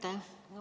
Aitäh!